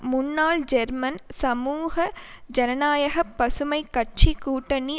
முன்னாள் ஜெர்மன் சமூக ஜனநாயகபசுமைக் கட்சி கூட்டணி